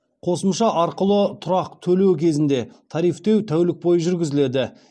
қосымша арқылы тұрақ төлеу кезінде тарифтеу тәулік бойы жүргізіледі